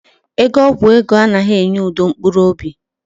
Ego ọgwụ ego anaghị enye udo mkpụrụ obi